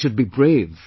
They should be brave